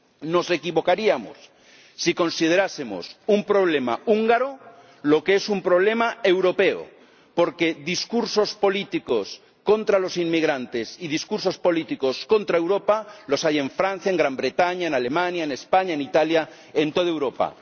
Nos equivocaríamos si considerásemos un problema húngaro lo que es un problema europeo, porque discursos políticos contra los inmigrantes y discursos políticos contra Europa los hay en Francia y en Gran Bretaña, en Alemania, en España, en Italia, en toda Europa.